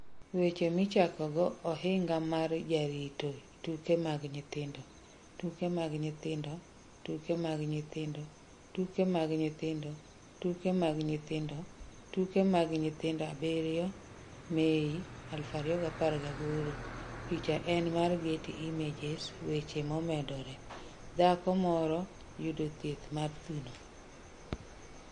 Weche Michakogo Ohinga mar Jarito Tuke mag Nyithindo Tuke mag Nyithindo Tuke mag Nyithindo Tuke mag Nyithindo Tuke mag Nyithindo Tuke mag Nyithindo 7 Mei, 2018 Picha en mar Getty Images weche momedore, Dhako moro yudo thieth mar thuno.